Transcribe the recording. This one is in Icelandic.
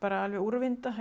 úrvinda